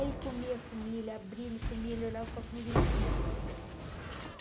Ele comia comia ele, abria ele comia ele, olhava para a comida ele comia.